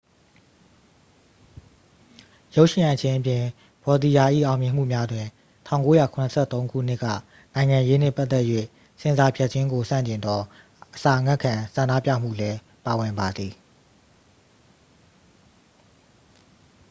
ရုပ်ရှင်ရိုက်ခြင်းအပြင် ဗောတီရာ ၏အောင်မြင်မှုများတွင် 1973 ခုနှစ်က နိုင်ငံရေးနှင့်ပတ်သက်၍ဆင်ဆာဖြတ်ခြင်းကိုဆန့်ကျင်သော အစာငတ်ခံဆန္ဒပြမှုလည်းပါဝင်ပါသည်